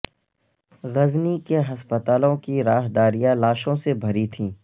غزنی کے ہسپتالوں کی راہداریاں لاشوں سے بھری تھیں